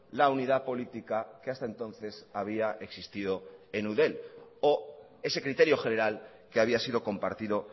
la unidad política que hasta entonces había existido en eudel o ese criterio general que había sido compartido